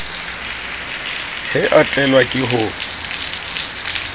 he a tlelwa ke ho